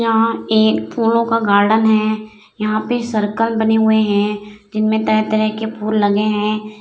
यहाँ एक फुलो का गार्डन है यहाँ पे सर्कल बने हुए हैं जिनमें तरह-तरह के फूल लगे हैं।